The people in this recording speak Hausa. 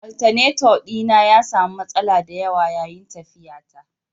Alternator dina ya sami matsala da yawa yayin tafiyata